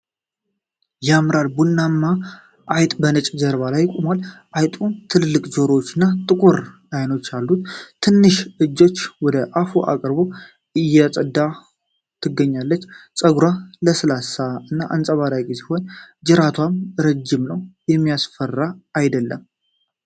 ያምራል! ቡናማ አይጥ በነጭ ጀርባ ላይ ቆሟል። አይጧ ትልልቅ ጆሮዎች እና ጥቁር አይኖች አሏት። ትንሽ እጆቿን ወደ አፏ አቅርባ እያጸዳች ወ ትገኛለች። ፀጉሯ ለስላሳ እና አንጸባራቂ ሲሆን ጅራቷም ረጅም ነው ። የሚያስፈራ አይደለም።